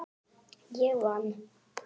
Ég vann!